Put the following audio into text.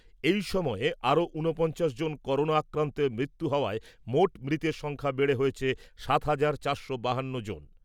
এই সময়ে আরও ঊনপঞ্চাশ জন করোনা আক্রান্তের মৃত্যু হওয়ায়, মোট মৃতের সংখ্যা বেড়ে হয়েছে সাত হাজার চারশো বাহান্ন জন।